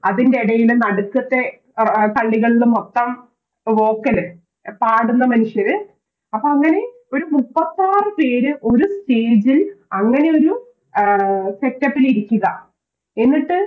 അതിൻറെടയിൽ നടുക്കത്തെ കളികളില് മൊത്തം Vocal പാടുന്ന മനുഷ്യര് അപ്പൊന്നില് ഒര് മുപ്പത്താറ് പേര് ഒരു Stage ൽ അങ്ങനെയൊരു Setup ൽ ഇരിക്കുക എന്നിട്ട്